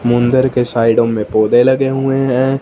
मुंदर के साइडो में पौधे लगे हुए हैं।